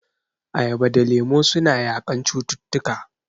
Ayaba da lemu suna yaƙan cututtuka..